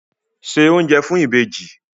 Se oúnjẹ fún ìbejì!